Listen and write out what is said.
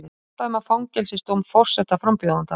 Fordæma fangelsisdóm forsetaframbjóðanda